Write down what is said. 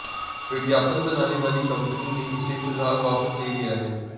विज्ञापन बनाने वाली कम्पनी ने इसे फिलहाल वापस ले लिया है